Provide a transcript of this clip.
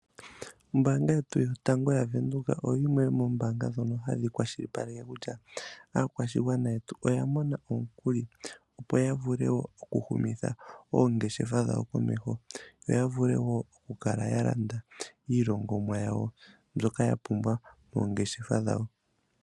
Ombanga yetu yotango yaVenduka oyimwe yomoombanga dhetu dhoka hadhi kwalishipaleke kutya aakwashigwana yetu oya mona omukuli opo yavule okushunitha oongeshefa dhawo komeho yo yavule okulanda iilongomwa yawo mbyoka yapumbwa moongeshefa dhawo.